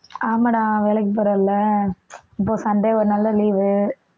ஆமாடா வேலைக்கு போறேன்ல இப்ப சண்டே ஒரு நாள் தான் leave